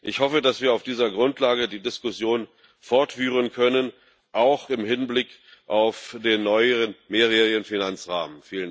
Ich hoffe, dass wir auf dieser Grundlage die Diskussion fortführen können auch im Hinblick auf den neuen mehrjährigen Finanzrahmen.